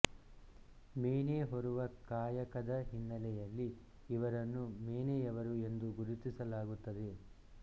ಮೇನೆ ಹೊರುವ ಕಾಯಕದ ಹಿನ್ನೆಲೆಯಲ್ಲಿ ಇವರನ್ನು ಮೇನೆಯವರು ಎಂದು ಗುರುತಿಸಲಾಗುತ್ತದೆ